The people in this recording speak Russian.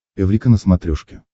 эврика на смотрешке